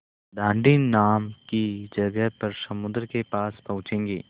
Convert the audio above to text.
दाँडी नाम की जगह पर समुद्र के पास पहुँचेंगे